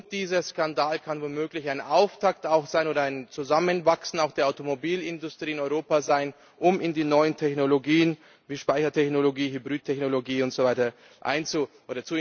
Dieser Skandal kann womöglich ein Auftakt für ein Zusammenwachsen auch der Automobilindustrie in Europa sein, um in die neuen Technologien wie Speichertechnologie, Hybridtechnologie